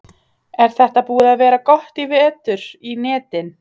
Er þetta búið að vera gott í vetur í netin?